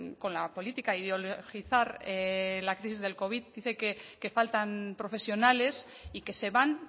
con la política ideologizar la crisis del covid dice que faltan profesionales y que se van